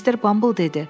Mr. Bumble dedi: